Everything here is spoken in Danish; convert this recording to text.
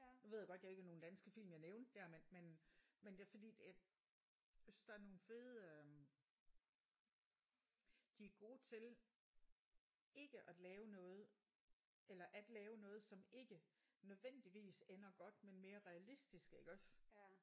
Nu ved jeg godt det ikke var nogen danske film jeg nævnte der men men men det er fordi jeg jeg synes der er nogle fede øh de er gode til ikke at lave noget eller at lave noget som ikke nødvendigvis ender godt men mere realistisk iggås